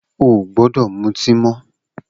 O ò gbódò mutí mó̩!